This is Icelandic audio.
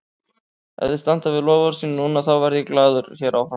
Ef þeir standa við loforð sín núna, þá verð ég glaður hér áfram.